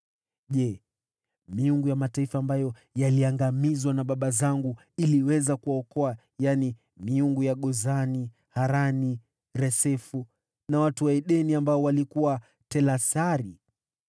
Je, miungu ya mataifa ambayo yaliangamizwa na baba zangu iliweza kuwaokoa, hiyo miungu ya Gozani, Harani, Resefu, na ya watu wa Edeni waliokuwa Telasari?